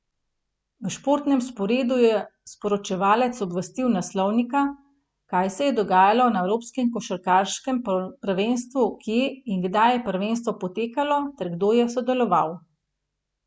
V športnem sporedu je sporočevalec obvestil naslovnika, kaj se je dogajalo na evropskem košarkarskem prvenstvu, kje in kdaj je prvenstvo potekalo ter kdo je sodeloval.